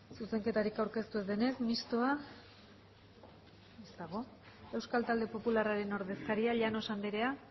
zuzenketarik aurkeztu ez denez mistoa ez dago euskal talde popularraren ordezkaria llanos andrea